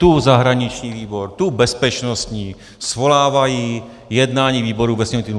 Tu zahraniční výbor, tu bezpečnostní svolávají jednání výboru ve sněmovním týdnu.